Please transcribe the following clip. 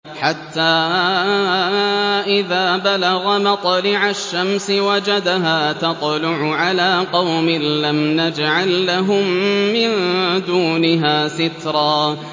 حَتَّىٰ إِذَا بَلَغَ مَطْلِعَ الشَّمْسِ وَجَدَهَا تَطْلُعُ عَلَىٰ قَوْمٍ لَّمْ نَجْعَل لَّهُم مِّن دُونِهَا سِتْرًا